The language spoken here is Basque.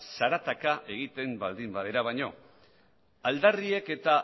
zarataka egiten baldin badira baino aldarriek eta